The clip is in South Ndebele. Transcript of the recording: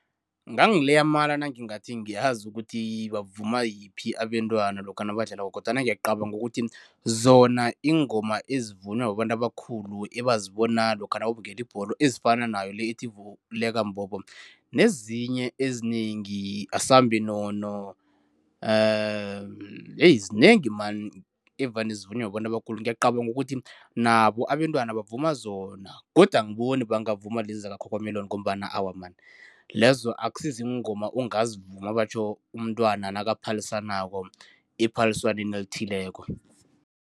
Ngangileya amala nangingathi ngiyazi ukuthi bavuma yiphi abentwana lokha nabadlalako kodwana ngiyacabanga ukuthi zona iingoma ezivunywa babantu abakhulu, ebazibona lokha nababukele ibholo ezifana nayo le ethi vuleka mbobo nezinye ezinengi asambe nono zinengi man evane zivunywe babantu abakhulu. Ngiyacabanga ukuthi nabo abentwana bavuma zona kodwa angiboni bangavuma lezi zaka-cocomelon ngombana awa man lezo akusiziingoma ongazivuma batjho umntwana nakaphalisanako ephaliswaneni elithileko.